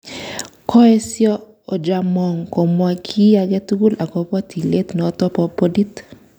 Koesyo Ojaamong komwa ki age tugul agobo tilet noto ba bodit